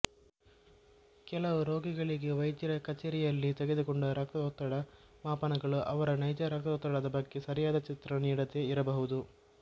ಕೆಲವು ರೋಗಿಗಳಿಗೆ ವೈದ್ಯರ ಕಚೇರಿಯಲ್ಲಿ ತೆಗೆದುಕೊಂಡ ರಕ್ತದೊತ್ತಡ ಮಾಪನಗಳು ಅವರ ನೈಜ ರಕ್ತದೊತ್ತಡದ ಬಗ್ಗೆ ಸರಿಯಾದ ಚಿತ್ರಣ ನೀಡದೇ ಇರಬಹುದು